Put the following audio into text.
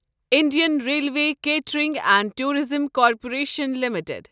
Indian railway catering and tourism corporation limited